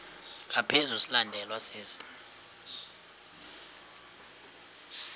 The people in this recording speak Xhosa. ngaphezu silandelwa sisi